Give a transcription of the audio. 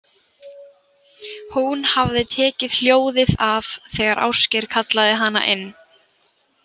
Hún hafði tekið hljóðið af þegar Ásgeir kallaði hana inn.